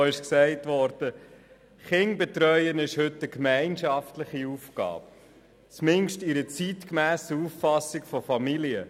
Kinder zu betreuen ist heute eine gemeinschaftliche Aufgabe, zumindest bei einer zeitgemässen Auffassung von Familie.